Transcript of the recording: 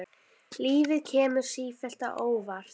Lífið kemur sífellt á óvart.